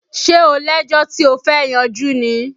Ṣé o lẹ́jọ́ tí ó fẹ́ yanjú ni?